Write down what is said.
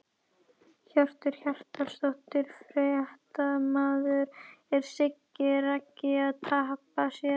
Hjörtur Hjartarson, fréttamaður: Er Siggi Raggi að tapa sér?!